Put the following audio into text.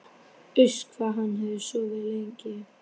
Uss, hvað hann hafði sofið lengi.